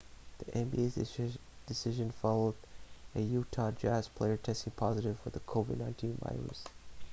the nba's decision followed a utah jazz player testing positive for the covid-19 virus